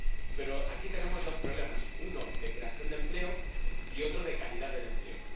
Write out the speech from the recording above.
Pero aquí tenemos dos problemas uno, de creación de empleo y, otro, de calidad del empleo.